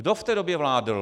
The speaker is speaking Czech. Kdo v té době vládl?